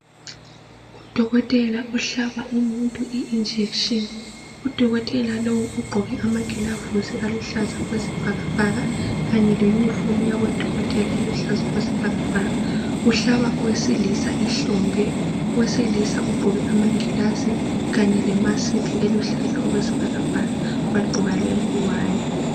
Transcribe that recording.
Udokotela ohlaba umuntu ijekiseni. Udokotela lowu ugqoke amagilavusi aluhlaza okwesibhakabhaka kanye le uniform yabodokotela eluhlaza okwesibhakabhaka uhlaba owesilisa ihlombe. Owesilisa ugqoke amangilazi kanye lemasiki eluhlaza okwesibhakabhaka wagqoka lengwane.